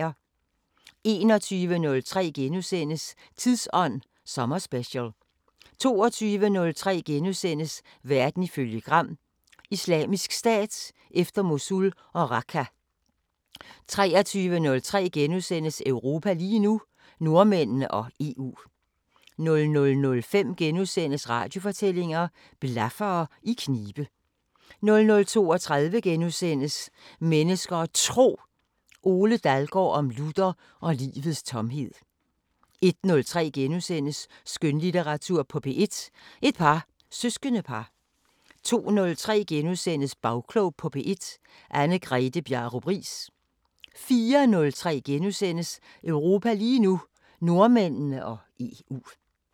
21:03: Tidsånd sommerspecial * 22:03: Verden ifølge Gram: Islamisk Stat efter Mosul og Raqqa * 23:03: Europa lige nu: Nordmændene og EU * 00:05: Radiofortællinger: Blaffere i knibe * 00:32: Mennesker og Tro: Ole Dalgaard om Luther og livets tomhed * 01:03: Skønlitteratur på P1: Et par søskendepar * 02:03: Bagklog på P1: Anne-Grethe Bjarup Riis * 04:03: Europa lige nu: Nordmændene og EU *